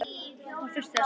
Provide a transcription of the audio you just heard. Hún þurfti þess ekki.